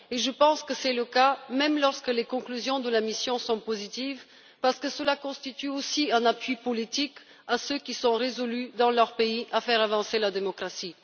Et je pense que c'est le cas même lorsque les conclusions de la mission sont positives, parce que cela constitue aussi un appui politique à ceux qui sont résolus, dans leur pays, à faire avancer la démocratie.